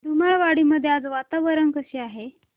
धुमाळवाडी मध्ये आज वातावरण कसे आहे